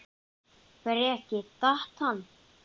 Breki: Datt hann?